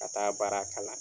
Ka taa baara kalan